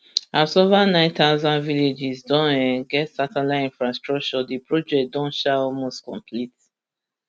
as ova nine thousand villages don um get satellite infrastructure di project don um almost complete